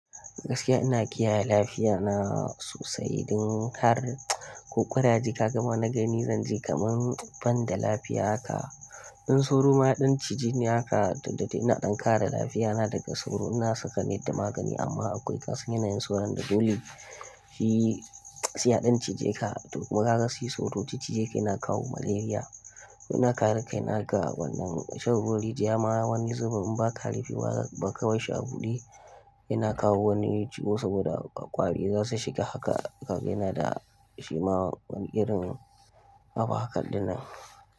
Gaskiya ina kiyaye lafiya na sosai, don har kokuna jika gama na gani zan ji kaman ban da lafiya haka. In sauro ma ya ɗan cije ni haka, don da ina ɗan kara lafiya na daga sauro ina saka net da magani amma akwai wasu yanayin sauron da dole shi saiya ɗan cije ka. Toh kuma kaga shi sauro, ci cijeka yana kawo malaria. Ina kare kai na ga wannan shan ruwan rijiya ma wani zubin in ba ka rufewa ba ka barshi shi a buɗe, yana kawo wani ciwo saboda ƙwari za su shiga haka kaga yanada shi ma wani irin abu haka ɗinnan.